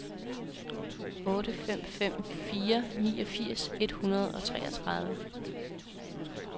otte fem fem fire niogfirs et hundrede og treogtredive